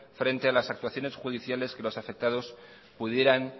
frente a las actuaciones judiciales que los afectados pudieran